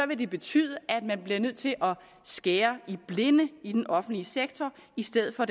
det betyde at man bliver nødt til at skære i blinde i den offentlige sektor i stedet for